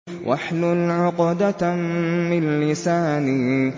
وَاحْلُلْ عُقْدَةً مِّن لِّسَانِي